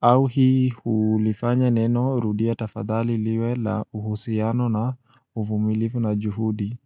au hii ulifanya neno rudia tafadhali liwe la uhusiano na uvumilivu na juhudi.